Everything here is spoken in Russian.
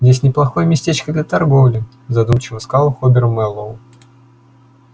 здесь неплохое местечко для торговли задумчиво сказал хобер мэллоу